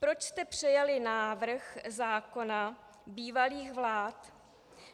Proč jste přijali návrh zákona bývalých vlád?